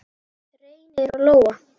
Reynir og Lóa.